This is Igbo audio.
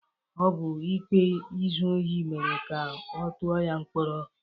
Ọ bụ ikpe izu ohi mere ka ọ tụọ ya mkpọrọ.